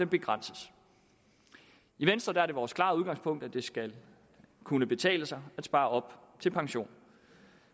begrænses i venstre er det vores klare udgangspunkt at det skal kunne betale sig at spare op til pension